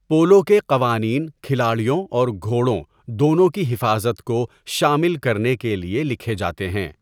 Polo کے قوانین کھلاڑیوں اور گھوڑوں دونوں کی حفاظت کو شامل کرنے کے لیے لکھے جاتے ہیں۔